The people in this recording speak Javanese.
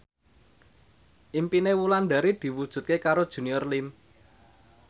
impine Wulandari diwujudke karo Junior Liem